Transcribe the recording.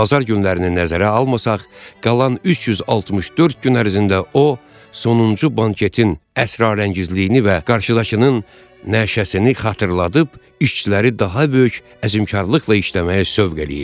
Bazar günlərini nəzərə almasaq, qalan 364 gün ərzində o sonuncu banketin əsrarəngizliyini və qarşıdakının nəşəsini xatırladıb işçiləri daha böyük əzimkarlıqla işləməyə sövq eləyirdi.